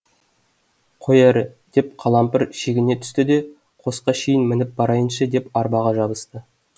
қой әрі деп қалампыр шегіне түсті де қосқа шейін мініп барайыншы деп арбаға жабысты